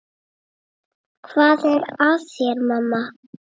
Hvað er að þér, mamma?